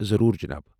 ضروٗر، جناب ۔